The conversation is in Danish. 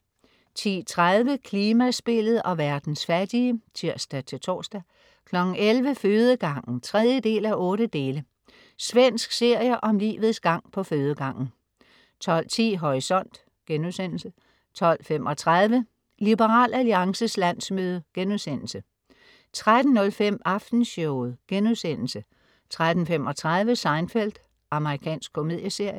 10.30 Klimaspillet og verdens fattige (tirs-tors) 11.00 Fødegangen 3:8. Svensk serie om livets gang på fødegangen 12.10 Horisont* 12.35 Liberal Alliances landsmøde* 13.05 Aftenshowet* 13.35 Seinfeld. Amerikansk komedieserie